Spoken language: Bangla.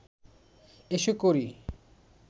এসো করি